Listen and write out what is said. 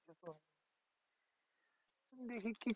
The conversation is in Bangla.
দেখি কি